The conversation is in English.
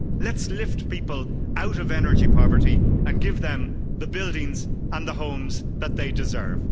Let's lift people out of energy poverty and give them the buildings and the homes that they deserve.